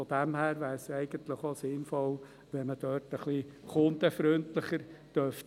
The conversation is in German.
Daher wäre es eigentlich auch sinnvoll, wenn man dort etwas kundenfreundlicher sein dürfte.